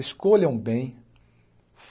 Escolham bem.